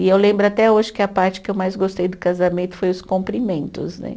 E eu lembro até hoje que a parte que eu mais gostei do casamento foi os cumprimentos, né?